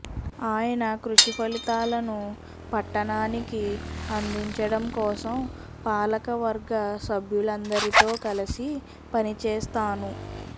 ఆయన కృషి ఫలితాలను పట్టణానికి అందించడం కోసం పాలకవర్గ సభ్యులందరితో కలిసి పనిచేస్తాను